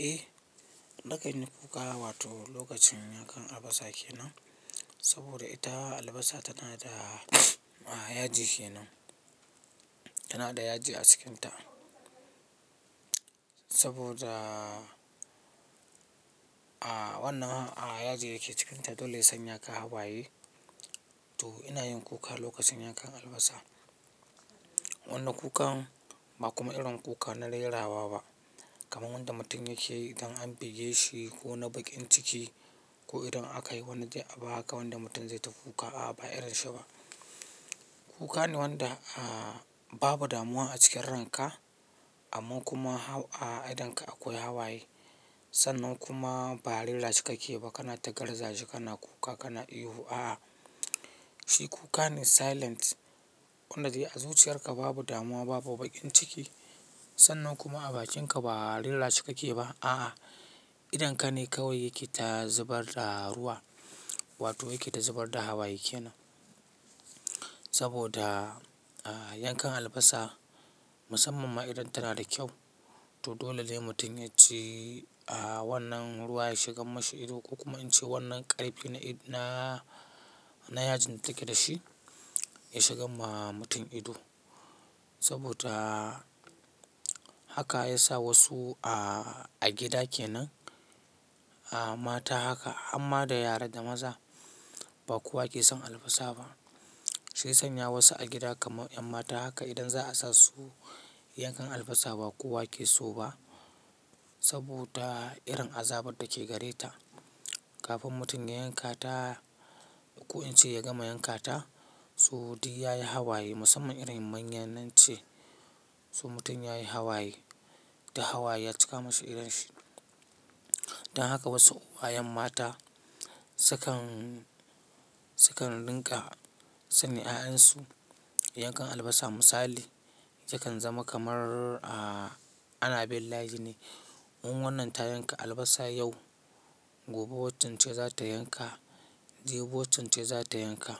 Eh, nakan yi kuka wato lokacin yankan albasa kenan, saboda ita albasa tana da yaji kenan, tana da yaji a cikinta. Saboda wannan yaji da ke cikinta dole ya sanya ka hawaye to ina yin kuka lokacin yankan albasa. Wannan kukan ba kuma irin kuka na rera wa ba kamar wanda mutum yake yi idan an buge shi ko na baƙin ciki ko idan aka yi wani abu haka wanda mutum zai ta kuka a'a ba irin shi ba. Kuka ne wanda babu damuwa a cikin ranka amma kuma a idonka akwai hawaye. Sannan kuma ba rera shi kake ba kana ta garza shi kana kuka kana ihu a'a. Shi kuka ne silent wanda a zuciyarka babu damuwa babu baƙin ciki sannan kuma a bakinka ba rera shi kake ba a'a. Idonka ne kawai yake ta zubar da ruwa wato yake ta zubar da hawaye kenan. Saboda yankan albasa musamman ma idan tana da kyau to dole ne mutum yaji wannan ruwa ya shigar mashi ido ko kuma in ce wannan ƙarfi na, na, na yajin da take da shi ya shigar wa mutum ido. Saboda haka ya sa wasu a gida kenan a mata haka hamma da yara da maza ba kowa ke son albasa ba. Shiya sanya wasu a gida kamar 'yan mata haka idan za a sa su yankan albasa ba kowa ke so ba saboda irin azabar da ke gare ta. Kafin mutum ya yanka ta ko in ce ya gama yanka ta, so duk yayi hawaye musamman irin manya nan ce, so mutum ya yi hawaye duk hawaye ya cika mashi idon shi. Dan haka wasu uwayen mata sukan, sukan rinƙa sanya 'ya'yansu yankan albasa misali sukan zama kamar a ana bin layi ne. In wannan ta yanka albasa yau, gobe waccan ce za ta yanka, jibi waccan ce za ta yanka.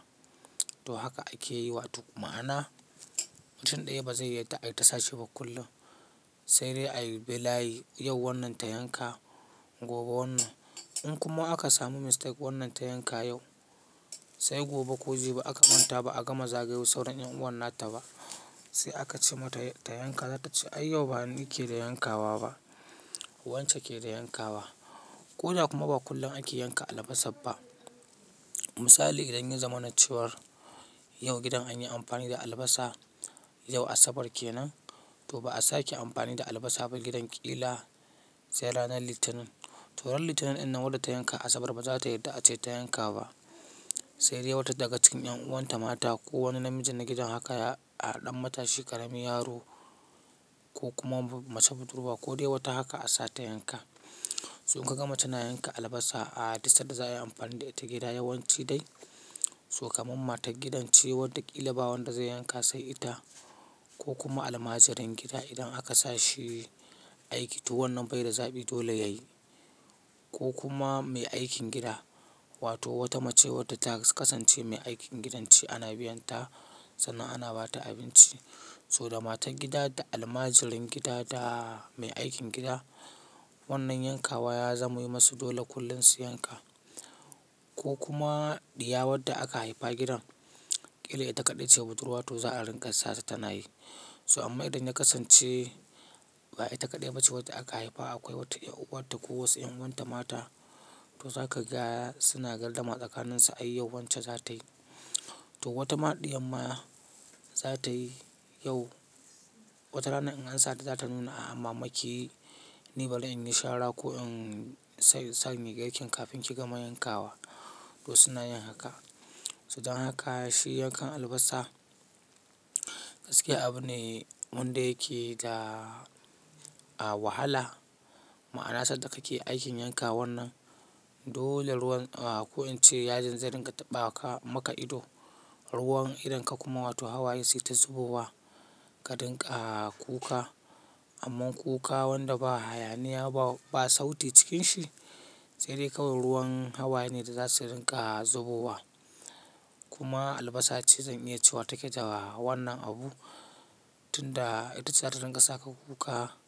To haka ake yi wato ma'ana mutum ɗaya ba zai yarda ayita sashi ba kullum. Sai dai a yi bi layi yau wannan ta yanka gobe wannan. In kuma aka samu mistake wannan ta yanka yau sai gobe ko gobe ko jibi aka manta ba a gama zagayo sauran 'yan'uwan nata ba sai aka ce mata ta yanka za ta ce "ai yau ba ni ke da yankawa ba, wance ke da yankawa". Ko da kuma ba kullum ake yanka albasar ba. Misali idan yi zamana cewar yau gidan an yi amfani da albasa, yau asabar kenan to ba a sake amfani da albasa ba gidan ƙila sai ranar Litinin. To ran Litinin in nan wanda ta yanka asabar ba za ta yarda a ce ta yanka ba. Sai dai wata daga cikin 'yanuwan ta mata ko wani namiji na gidan haka a ɗan matashi, ƙaramin yaro ko kuma mace budurwa ko dai wata haka a sa ta yanka. So in kaga mace na yanka albasa a duk sanda za a yi amfani da ita gida yawanci dai so kaman matar gidan ce wadda ƙila ba wadda zai yanka sai ita ko kuma almajirin gida idan aka sa shi aiki to wannan bai da zaɓi dole yayi. Ko kuma mai aikin gida wato wata mace wadda ta kasance mai aikin gidan ce ana biyan ta sannan ana ba ta abinci. To da matar gidan da almajirin gida da mai aikin gida wannan yankawa ya zama yi musu dole kullum su yanka. Ko kuma ɗiya wadda aka haifa gidan ƙila ita kaɗai ce budurwa to za a ringa sa ta tana yi. So amma idan ya kasance ba ita kaɗai ba ce wadda aka haifa akwai wata 'yar'uwar ta ko wasu 'yan'uwan ta mata to za ka ga suna gardama tsakaninsu ai yau wance zatayi. To wata ma ɗiyan ma zatayi yau, wata rana in an sa ta za ta nuna a'a mama kiyi ni bari inyi shara ko in sanya girkin kafin ki gama yankawa to suna yin haka. To dan haka shi yankan albasa gaskiya abu ne wanda yake da wahala ma'ana sanda kake aikin yanka wannan dole ruwan ko in ce yajin zai ringa taɓa maka ido. Ruwan idonka kuma wato hawaye sai ta zubo wa ka dinga kuka. Amma kuka wanda ba hayaniya ba, ba sauti cikin shi sai dai kawai ruwan hawaye ne da za su ringa zubowa. Kuma albasa ce zan iya cewa take da wannan abu tunda itace za ta ringa saka kuka.